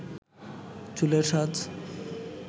চুলের সাজ